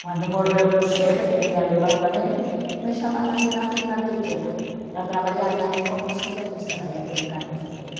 Quando morreu meu chefe, que me ia levar com ele, me chamaram de uma firma pequena, a trabalhar mais como supervisora, já com um cargo superior.